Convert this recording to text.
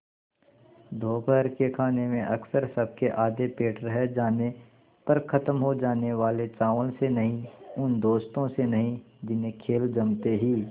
दोपहर के खाने में अक्सर सबके आधे पेट रह जाने पर ख़त्म हो जाने वाले चावल से नहीं उन दोस्तों से नहीं जिन्हें खेल जमते ही